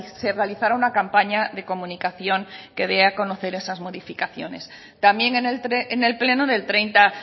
se realizará una campaña de comunicación que dé a conocer esas modificaciones también en el pleno del treinta